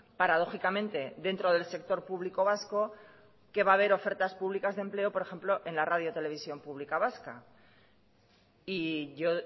paradójicamente dentro del sector público vasco que va a ver ofertas públicas de empleo por ejemplo en la radio televisión pública vasca y yo